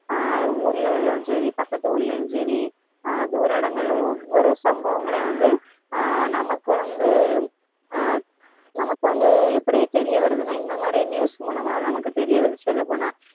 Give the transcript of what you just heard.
அஹ் ஊர்ல உள்ளதும் சரி பக்கத்து ஊர்லயும் சரி அஹ் தூர இடங்கள்ல ஒவ்வொரு சம்பவங்களையும் வந்து அஹ் நமக்கு வந்து அஹ் நமக்கு வந்து எப்படி தெரிய வருதுன்னா இந்த மாதிரி news மூலமா நமக்கு தெரிய வருது சொல்லப் போனா